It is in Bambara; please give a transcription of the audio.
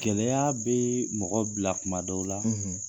Gɛlɛya bɛ mɔgɔ bila kuma dɔw la, .